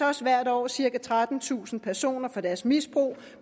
også hvert år cirka trettentusind personer for deres misbrug